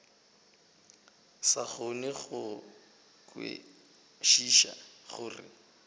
sa kgone go kwešiša gore